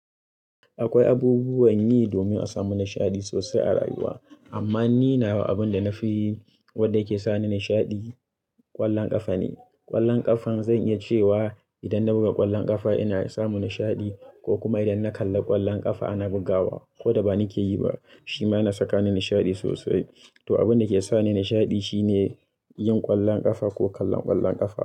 Akwai abubuwan yi domin a samu nishaɗi sosai a rayuwa. Amma ni nawa abin da na fi, wanda yake sani nishaɗi, ƙwallon ƙafa ne. Ƙwallon ƙafa, zan iya cewa idan na buga ƙwallon ƙafa ina samu nishaɗi, ko kuma idan na kalla ƙwallon ƙafa ana bugawa ko da ba ni ke yi ba, shi ma yana saka ni nishaɗi sosai. To, abinda ke sani nishaɗi shine yin ƙwallon ƙafa ko kallon ƙwallon ƙafa.